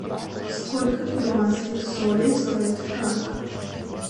сколько перуанских солей стоит франк